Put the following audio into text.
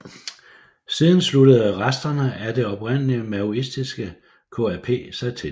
Siden sluttede resterne af det oprindeligt maoistiske KAP sig til